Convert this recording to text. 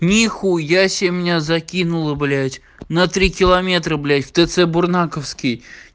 нихуя себе меня закинула блять на три километра блять в тц бурнаковский